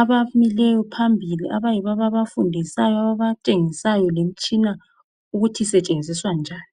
abamileyo phambili abayibo ababafundisayo ababatshengisayo lemtshina ukuthi isetshenziswa njani.